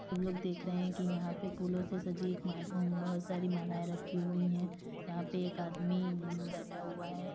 हम लोग देख रहे हैं कि यहां पर फूलों से सजी ब बोहोत सारी मालाऐ रखी हुई हैं। यहां पे एक आदमी उमं बैठा हुआ है।